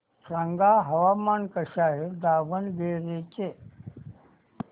सांगा हवामान कसे आहे दावणगेरे चे